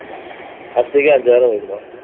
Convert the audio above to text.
அரிசிக்கே ஐந்தாயிரம் வைக்கணும்